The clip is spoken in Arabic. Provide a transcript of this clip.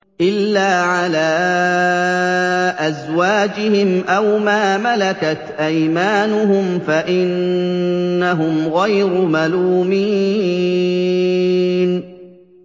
إِلَّا عَلَىٰ أَزْوَاجِهِمْ أَوْ مَا مَلَكَتْ أَيْمَانُهُمْ فَإِنَّهُمْ غَيْرُ مَلُومِينَ